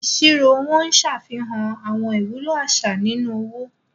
Ìṣirò owó Ń ṣàfihàn àwọn ìwúlò àṣà nínú owó.